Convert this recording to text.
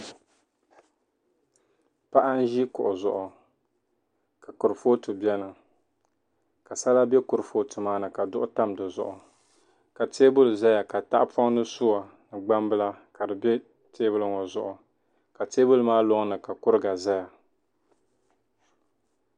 paɣa n-ʒi kuɣu zuɣu ka kurifooti beni ka sala be kurifooti maani ka zuɣu tam di zuɣu ka teebuli zaya ka tahapɔŋ ni sua ni gbambila ka di teebuli ŋɔ zuɣu ka teebuli maa lɔŋni ka kuriga zaya